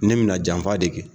Ne m na janfa de kɛ.